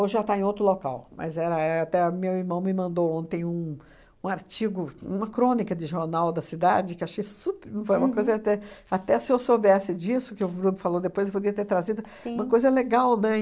Hoje já está em outro local, mas era éh até meu irmão me mandou ontem um um artigo, uma crônica de jornal da cidade, que achei sup... foi uma coisa até... até se eu soubesse disso, que o Bruno falou depois, eu poderia ter trazido uma coisa legal, né?